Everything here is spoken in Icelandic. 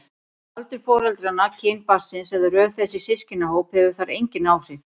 Aldur foreldranna, kyn barnsins eða röð þess í systkinahóp hefur þar engin áhrif.